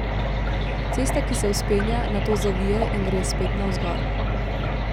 Cesta, ki se vzpenja, nato zavije in gre spet navzgor.